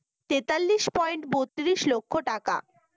তেতাল্লিশ পয়েন্ট বত্রিশ লক্ষ টাকা